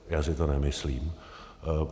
Já si to nemyslím.